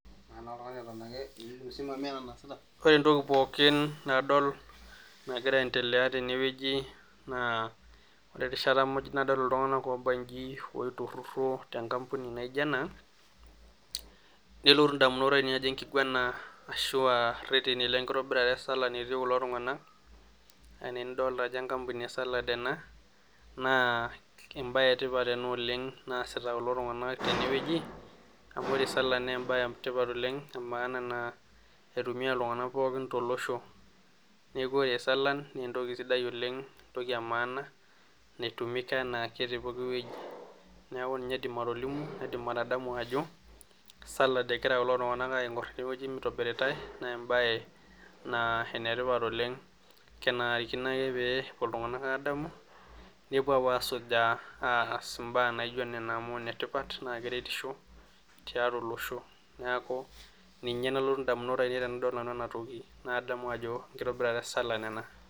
Ore entoki pookin nadol nagira aendelea tenewueji naa ore rishata pookin nadol iltung'anak eitururo tenkambuni naijio ena nelotu indamunot ainei ajo enkiguana ashuua ireteni lenkitabirata e salan etii kulo tung'anak enaa enidolita ejo enkampuni e salan ena naa keji embae etipat ena oleng naasita kulo tung'anak tenewueji ore salan naa embaye etipat oleng amu keitumiya iltung'anak pookin tolosho neeku ore salan naa entoki sidai oleng entoki emaana naitumika enaake tepooki wueji neeku ninye aidim atolimu aidim atadamu ajo salan egira kulo tung'anak aakur tidie wueji naitobiritae naa empae naa enetipat oleng kenarikino. ake pee epuo iltung'anak aadamu nepuo. aapuo. aasujaa aas imbaa naijio nena amu ineripa naa keretisho tiatua olosho neeku ninye nalotu indamunot aaineei tenadol ena toki naadamu ajo enkitabirata e salan ena.